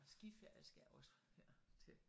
Skiferie skal også her til